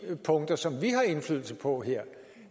punkter som vi har indflydelse på her